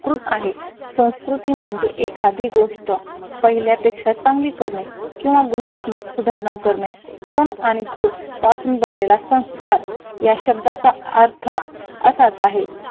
स्कृत आहे संस्कृती म्हणजे एखादी गोष्ट पहिल्यापेक्षा चांगली करणे किंवा गुणात्मक सुधारणा करणे सण आणि कृत यापासून बनलेला संस्कार या शब्दाचा अर्थ असाच आहे